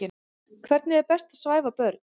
Hvernig er best að svæfa börn?